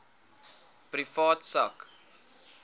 privaat sak